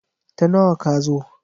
Ta nawa ka zo?